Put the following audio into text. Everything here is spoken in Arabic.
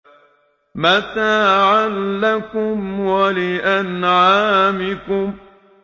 مَّتَاعًا لَّكُمْ وَلِأَنْعَامِكُمْ